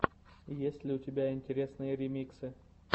есть ли у тебя интересные ремиксы